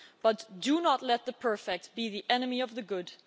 But do not let the perfect be the enemy of the good.